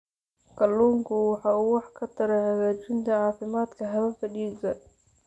Kalluunku waxa uu wax ka taraa hagaajinta caafimaadka hababka dhiigga.